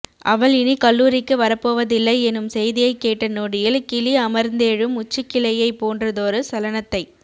அவள் இனி கல்லூரிக்கு வரப்போவதில்லை எனும் செய்தியை கேட்ட நொடியில் கிளி அமர்ந்தெழும் உச்சிக்கிளையை போன்றதொரு சலனத்தை